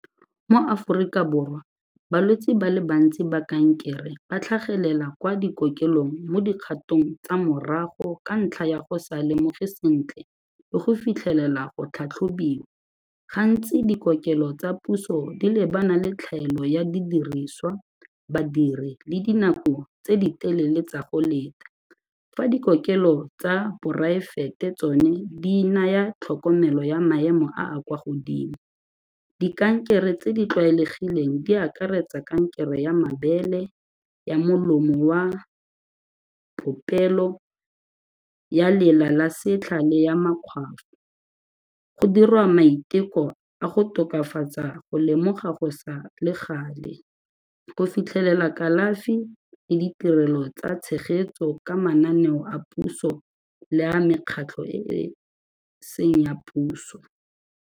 Mo Aforika Borwa balwetse ba le bantsi ba kankere ba tlhagelela kwa dikokelong mo dikgatong tsa morago ka ntlha ya go sa lemoge sentle le go fitlhelela go tlhatlhobiwa gantsi dikokelo tsa puso di lebana le tlhaelo ya didiriswa, badiri le dinako tse di telele tsa go leta. Fa dikokelo tsa poraefete tsone di naya tlhokomelo ya maemo a a kwa godimo, dikankere tse di tlwaelegileng di akaretsa kankere ya mabele, ya molomo wa popelo, ya lela la setlha le ya makgwafo, go dirwa maiteko a go tokafatsa go lemoga go sa le gale, go fitlhelela kalafi le ditirelo tsa tshegetso ka mananeo a puso le ya mekgatlho e e seng ya puso.